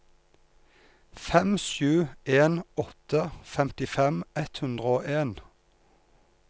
fem sju en åtte femtifem ett hundre og en